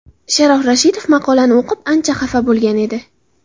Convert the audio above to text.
Sharof Rashidov maqolani o‘qib, ancha xafa bo‘lgan edi.